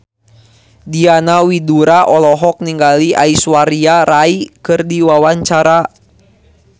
Diana Widoera olohok ningali Aishwarya Rai keur diwawancara